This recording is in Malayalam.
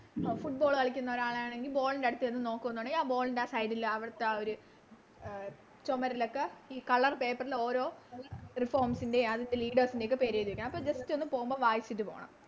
Football കളിക്കുന്നൊരാളാണെങ്കിൽ Ball ൻറെ അടുത്ത് ചെന്ന് നോക്കുന്നുണെങ്കിൽ ആ Ball ൻറെ ആ Side ല് അവിടുത്തെ ആ ഒര് ചൊമാരിലൊക്കെ ഈ Colour paper ൽ ഓരോ ൻറേം അതിൻറെ Leaders ൻറേം ഒക്കെ പേരെഴുതി വെക്കണം അപ്പൊ Just ഒന്ന് പോകുമ്പോ വായിച്ചിട്ട് പോണം